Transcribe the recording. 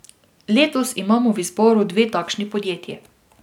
Letos imamo v izboru dve takšni podjetij.